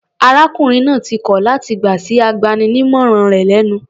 Arákùnrin náà ti kọl láti gbà sí agbaninímọ̀ràn rẹ̀ lẹ́nu.